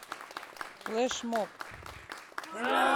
флешмоб